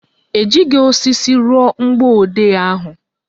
Ejighị osisi rụọ mgbọodee ahụ